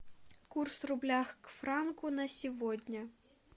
курс рубля к франку на сегодня